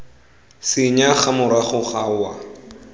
senya morago ga go wa